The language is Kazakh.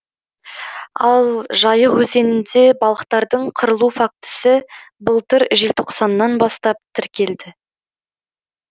ал жайық өзенінде балықтардың қырылу фактісі былтыр желтоқсаннан бастап тіркелді